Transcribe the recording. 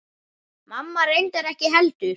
Mamma reyndar ekki heldur.